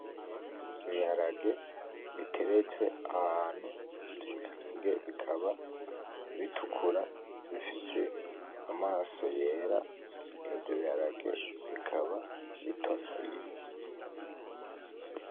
Ibiharage biteretse ahantu ivyo bikaba bitukura bifise amaso yera, ivyo biharage bikaba bitonoye .